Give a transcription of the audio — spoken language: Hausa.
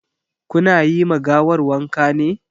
Ku na yi ma gawar wanka ne?